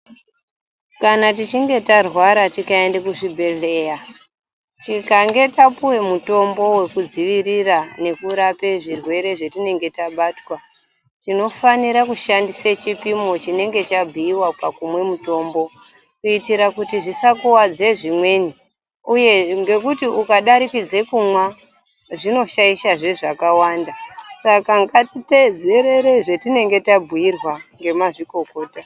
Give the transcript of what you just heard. Kana tichinge tarwara tikaenda kuchibhehleya tikange tapiwa mutombo wekudzivirira zvirwere zvatinenge tabatwa tinofanira kushandisa chipimo chinenge chabhuiwa pakumwa mutombo kuitira kuti zvisakuvadza zvimweni uye ngekuti ukadatikidza kumwa zvinoshaisha zvakawanda Saka ngatiteedzerere zvatinenge tabhuirwa ngemazvokokota.